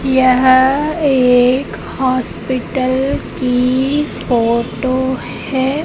यह एक हॉस्पिटल की फोटो है।